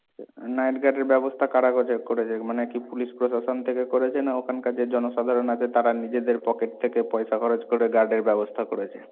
night guard এর ব্যবস্থা কারা কজে করছে, মানে কি police প্রশাসন থেকে করেছে না ওখানকার যে জনসাধারণ আছে তারা নিজেদের পকেট থেকে পয়সা খরচ করে guard এর ব্যবস্থা করেছে।